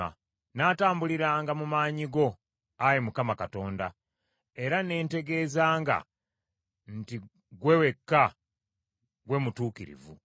Nnaatambuliranga mu maanyi go, Ayi Mukama Katonda, era ne ntegeezanga nti ggwe wekka ggwe mutuukirivu.